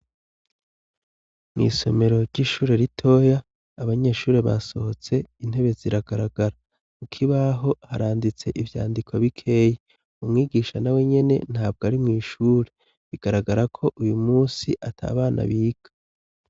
Mwiisomero ry'ishure ritoya abanyeshuri basohotse intebe ziragaragara kukibaho haranditse ivyandiko bikeyi umwigisha na wenyene ntabwo ari mwishure bigaragara ko uyu munsi atabana biga.